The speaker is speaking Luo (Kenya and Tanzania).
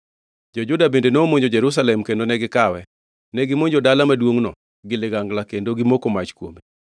Jo-Juda bende nomonjo Jerusalem kendo ne gikawe. Negimonjo dala maduongʼno gi ligangla kendo gimoko mach kuome.